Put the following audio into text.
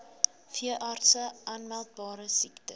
veeartse aanmeldbare siektes